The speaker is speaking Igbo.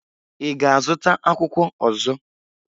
Ị ga-azụta akwụkwọ ọzọ?